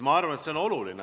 Ma arvan, et see on oluline.